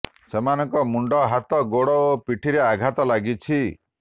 ସେମାନଙ୍କ ମୁଣ୍ତ ହାତ ଗୋଡ ଓ ପିଠିରେ ଆଘାତ ଲାଗିଛି